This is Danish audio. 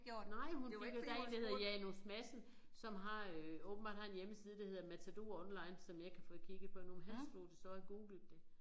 Nej det var fordi der én der hedder Janus Madsen som har øh åbenbart har en hjemmeside der hedder matadoronline som jeg ikke har fået kigget på endnu men han slog det så googlede det